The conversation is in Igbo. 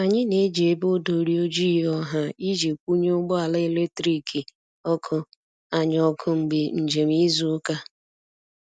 anyi n'eji ebe odori ojịị ọha iji kwunye ụgbọ ala eletrikị (ọkụ)anyi oku mgbe njem izu uka